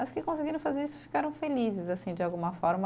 As que conseguiram fazer isso ficaram felizes, de alguma forma.